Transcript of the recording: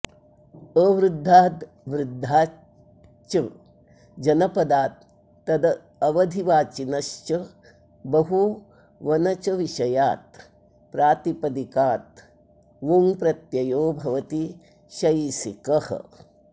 अवृद्धाद् वृद्धाच् च जनपदात् तदवधिवाचिनश्च बहुवनचविषयात् प्रातिपदिकाद् वुञ् प्रत्ययो भवति शैसिकः